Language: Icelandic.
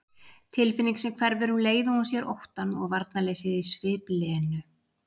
Tilfinning sem hverfur um leið og hún sér óttann og varnarleysið í svip Lenu.